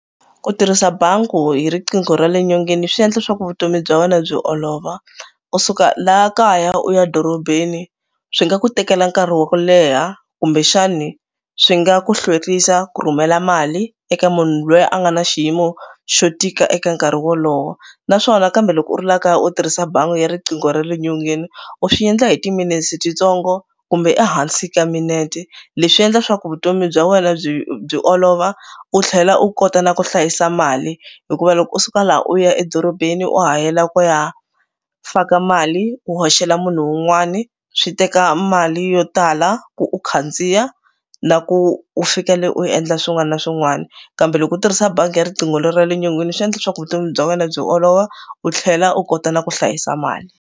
Ku tirhisa bangi hi riqingho ra le nyongeni swi endla leswaku vutomi bya wena byi olova. Ku suka laha kaya u ya dorobeni swi nga ku tekela nkarhi wa ku leha kumbexani swi nga ku hlwerisa ku rhumela mali eka munhu loyi a nga na xiyimo xo tika eka nkarhi wolowo naswona kambe loko u la kaya u tirhisa bangi ya riqingho ra le nyongeni u swi endla hi ti-minutes titsongo kumbe ehansi ka minute. Leswi endla leswaku vutomi bya wena byi byi olova u tlhela u kota na ku hlayisa mali hikuva loko u suka laha u ya edorobeni wa ha yela ku ya faka mali u hoxela munhu un'wani swi teka mali yo tala ku u khandziya na ku u fika le u endla swin'wana na swin'wana kambe loko u tirhisa bangi ya riqingho ra le nyongeni swi endla leswaku vutomi bya wena byi olova u tlhela u kota na ku hlayisa mali.